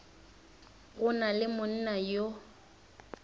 go na le monna yo